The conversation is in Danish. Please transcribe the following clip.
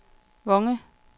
Vonge